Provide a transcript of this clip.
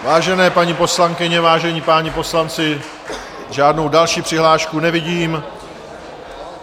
Vážené paní poslankyně, vážení páni poslanci, žádnou další přihlášku nevidím.